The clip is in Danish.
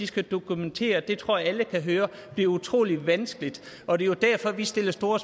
skal dokumentere det tror jeg alle kan høre bliver utrolig vanskeligt og det er jo derfor vi sætter store